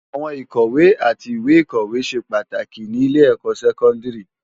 Áwòn ikòwé ati iwé ikòsilé sé pàtáki ni ilé èkò sèkòndári